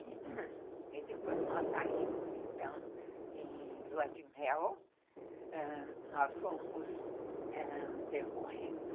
E depois nós saímos então em lua de mel, ãh, nós fomos, ãh, percorrendo...